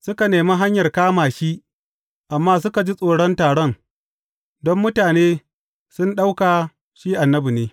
Suka nemi hanyar kama shi, amma suka ji tsoron taron, don mutane sun ɗauka shi annabi ne.